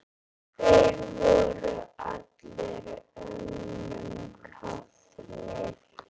Þeir voru allir önnum kafnir.